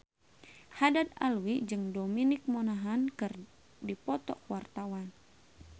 Haddad Alwi jeung Dominic Monaghan keur dipoto ku wartawan